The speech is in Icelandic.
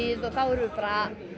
þar erum við bara að